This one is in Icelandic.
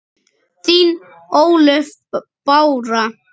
Þín Ólöf Bára.